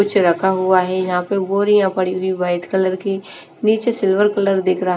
कुछ रखा हुआ है यहां पे बोरियां पड़ी हुई है वाइट कलर की नीचे सिल्वर कलर दिख रहा--